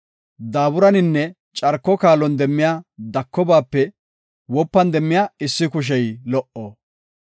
Daaburaninne carko kaalon demmiya dakobaape wopan demmiya issi kushey lo77o.